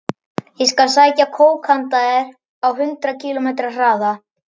Ég skal sækja kók handa þér á hundrað kílómetra hraða.